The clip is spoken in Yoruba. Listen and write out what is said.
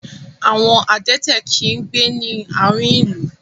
Àwon adẹ́tẹ̀ kì í gbé ní àárihn ìlú.